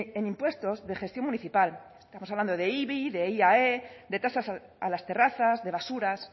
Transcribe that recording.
en impuestos de gestión municipal estamos hablando de ibi de iae de tasas a las terrazas de basuras